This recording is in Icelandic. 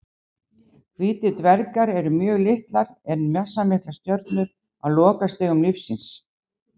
Hvítir dvergar eru mjög litlar en massamiklar stjörnur á lokastigum lífs síns.